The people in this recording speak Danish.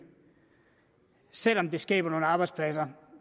selv om det ville skabe nogle arbejdspladser